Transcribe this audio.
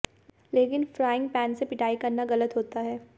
लेकिन frying pan से पिटाई करना गलत होता है